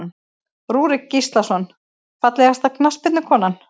Rúrik Gíslason Fallegasta knattspyrnukonan?